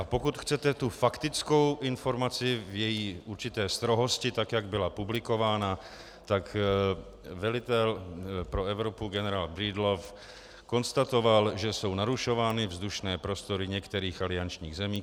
A pokud chcete tu faktickou informaci v její určité strohosti tak, jak byla publikována, tak velitel pro Evropu generál Breedlove konstatoval, že jsou narušovány vzdušné prostory některých aliančních zemí.